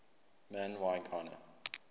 man y gana